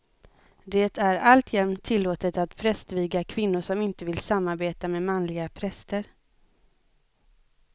Det är alltjämt tillåtet att prästviga kvinnor som inte vill samarbeta med manliga präster.